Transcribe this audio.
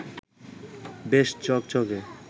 বেশ ঝকঝকে